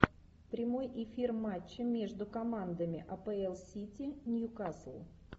прямой эфир матча между командами апл сити ньюкасл